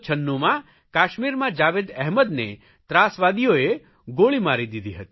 1996માં કાશ્મીરમાં જાવેદ અહેમદને ત્રાસવાદીઓએ ગોળી મારી દીધી હતી